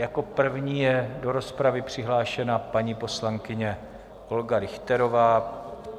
Jako první je do rozpravy přihlášena paní poslankyně Olga Richterová.